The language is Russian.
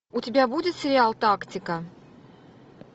у тебя будет сериал тактика